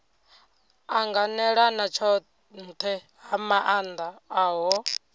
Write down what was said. anganelana tshohe ha maana ohe